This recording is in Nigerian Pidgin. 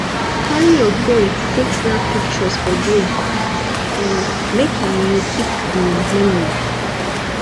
carry your phone take snap pictures for there um make you keep di memory